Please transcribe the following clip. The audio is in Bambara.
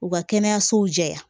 U ka kɛnɛyasow jɛ